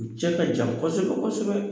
U cɛ ka jan kɔsɛbɛ kɔsɛbɛ.